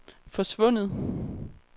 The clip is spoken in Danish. forsvundet